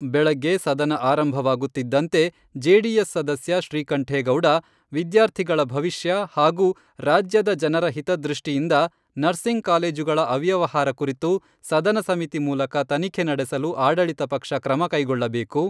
ಬೆಳಗ್ಗೆ ಸದನ ಆರಂಭವಾಗುತ್ತಿದ್ದಂತೆ ಜೆಡಿಎಸ್ ಸದಸ್ಯ ಶ್ರೀಕಂಠೇಗೌಡ, ವಿದ್ಯಾರ್ಥಿಗಳ ಭವಿಷ್ಯ ಹಾಗೂ ರಾಜ್ಯದ ಜನರ ಹಿತದೃಷ್ಟಿಯಿಂದ ನರ್ಸಿಂಗ್ ಕಾಲೇಜುಗಳ ಅವ್ಯವಹಾರ ಕುರಿತು ಸದನ ಸಮಿತಿ ಮೂಲಕ ತನಿಖೆ ನಡೆಸಲು ಆಡಳಿತ ಪಕ್ಷ ಕ್ರಮ ಕೈಗೊಳ್ಳಬೇಕು.